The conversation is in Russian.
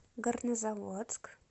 горнозаводск